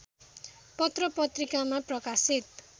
पत्रपत्रिकामा प्रकाशित